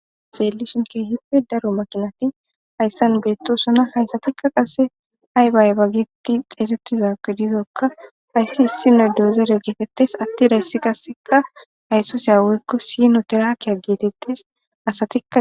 xeelishonke hippe daro makinati hayssan beettosona hayssatikka qase haybaay ba geti xeesotizage dizokka hayssi issino deozere geetetes atti dayssi kasseka haysso seyawoykko sino teraakiya geetettes asatikka